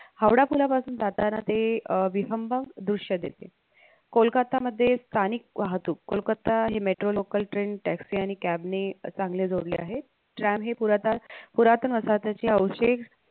हावडा पुलापासून जाताना ते अं विहंगम दृश्य देते कोलकाता यामध्ये स्थानिक वाहतूक कोलकत्ता हे metro local train taxi cab नि चांगले जोडले आहे tram हे पुरा तास पुरातन वसाहताचे अवशेष